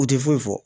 U tɛ foyi fɔ